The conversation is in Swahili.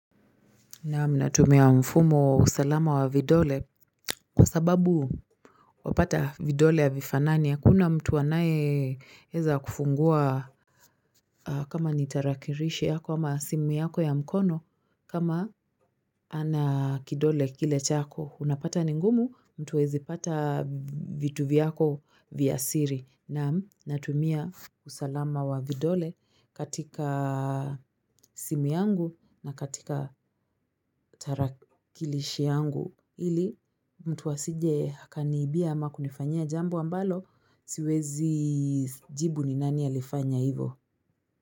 Naam natumia mfumo wa usalama wa vidole kwa sababu wapata vidole havifanani hakuna mtu anaye eza kufungua kama ni tarakirishi yako ama simu yako ya mkono kama hana kidole kile chako unapata ni ngumu mtu huwezi pata vitu vyako vya siri naam natumia usalama wa vidole katika simu yangu na katika tarakilishi yangu ili mtu asije akaniibia ama kunifanyia jambo ambalo siwezi jibu ni nani alifanya hivo.